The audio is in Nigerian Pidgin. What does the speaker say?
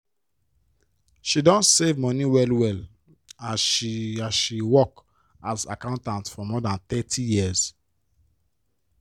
she don save money well-well as she as she work as accountant for more than thirty years.